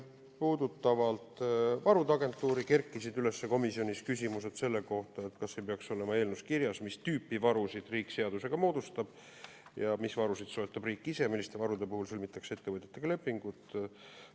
Puudutades varude agentuuri, kerkisid komisjonis üles küsimused selle kohta, kas see peaks olema eelnõus kirjas, mis tüüpi varusid riik seaduse kohaselt moodustab ja mis varusid soetab riik ise, milliste varude puhul sõlmitakse ettevõtetega lepingud.